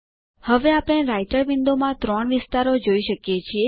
હવે આપણે રાઈટર વિન્ડોમાં ત્રણ વિસ્તારોમાં જોઈ શકીએ છે